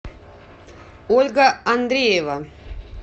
ольга андреева